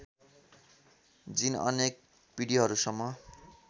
जिन अनेक पिँढिहरूसम्म